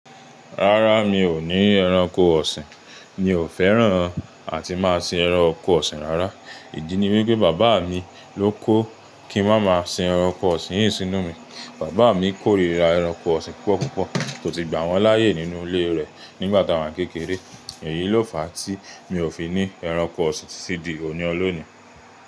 Rárá, mi ò ní ẹranko ọ̀sìn. Mi ò fẹ́ràn àti máa sin ẹranko ọ̀sìn rárá. Ìdí ni wípé bàbá mi ló kó kí n mámá sin ẹranko ọ̀sìn yìí sínú mi. Bàbá mi kórira ẹranko ọ̀sìn púpọ̀púpọ̀ tó si gbà wọ́n láyè nínú ilé rẹ̀ nígbà tá wa kékeré. Èyí ló fa tí mi ò fi ní ẹranko ọ̀sìn títí di òní ọlọ́ni.